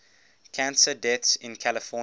cancer deaths in california